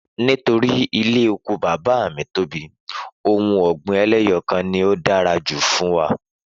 Nítorí ilé oko bàbá mi tóbi, ohun ọ̀gbìn eléyọkan ni ó dára jù fún wa